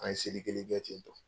An ye seli kelen kɛ ten tɔ.